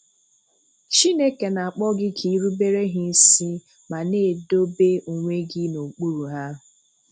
Chineke na-akpọ gị ka irubere ha isi ma na-edobe onwe gị n'okpuru ha.